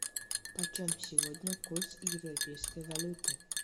почем сегодня курс европейской валюты